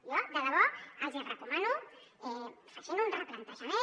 jo de debò els hi recomano que facin un replantejament